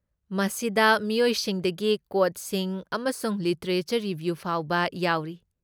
ꯃꯁꯤꯗ ꯃꯤꯑꯣꯏꯁꯤꯡꯗꯒꯤ ꯀꯣꯠꯁꯤꯡ ꯑꯃꯁꯨꯡ ꯂꯤꯇꯔꯦꯆꯔ ꯔꯤꯕ꯭ꯌꯨ ꯐꯥꯎꯕ ꯌꯥꯎꯔꯤ꯫